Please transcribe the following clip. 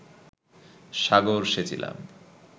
সাগর সেচিলাম